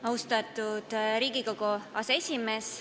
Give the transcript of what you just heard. Austatud Riigikogu aseesimees!